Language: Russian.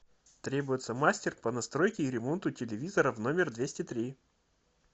требуется мастер по настройке и ремонту телевизора в номер двести три